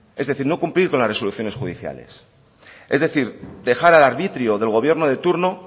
es decir no cumplir con las resoluciones judiciales es decir dejar al arbitrio del gobierno de turno